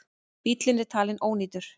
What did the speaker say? Bíllinn er talin ónýtur.